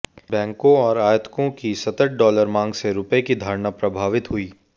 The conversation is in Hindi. बैंकों और आयातकों की सतत डॉलर मांग से रुपये की धारणा प्रभावित हुई